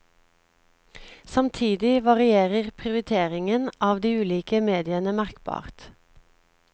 Samtidig varierer prioriteringen av de ulike mediene merkbart.